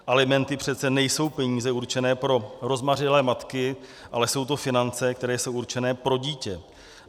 Alimenty přece nejsou peníze určené pro rozmařilé matky, ale jsou to finance, které jsou určeny pro dítě.